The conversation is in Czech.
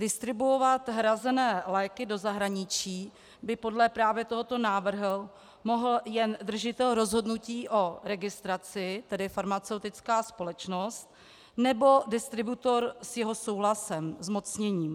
Distribuovat hrazené léky do zahraničí by podle právě tohoto návrhu mohl jen držitel rozhodnutí o registraci, tedy farmaceutická společnost, nebo distributor s jeho souhlasem, zmocněním.